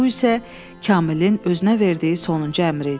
Bu isə Kamilin özünə verdiyi sonuncu əmr idi.